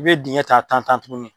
I bɛ dingɛ ta tan tan tuguni.